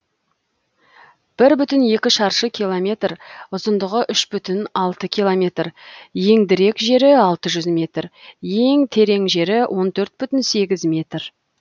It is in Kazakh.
бір бүтін екі шаршы километр ұзындығы үш бүтін алты километр еңдірек жері алты жүз метр ен терең жері он төрт бүтін сегіз метр